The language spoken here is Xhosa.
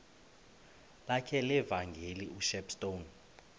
lakhe levangeli ushepstone